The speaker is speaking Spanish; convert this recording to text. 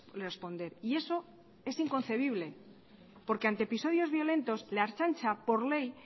responder y eso es inconcebible porque ante episodios violentos la ertzaintza por ley